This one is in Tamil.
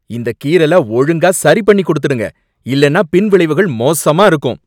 இந்தக் கீறல ஒழுங்கா சரிபண்ணிக் குடுத்துடுங்க, இல்லைன்னா பின்விளைவுகள் மோசமா இருக்கும்!